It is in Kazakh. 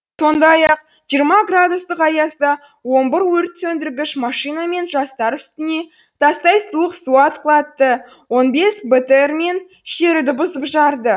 сондай ақ жиырма градустық аязда он бір өрт сөндіргіш машинамен жастар үстіне тастай суық су атқылатты он бес бтр мен шеруді бұзып жарды